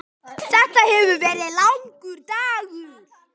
Þetta hefur verið langur dagur.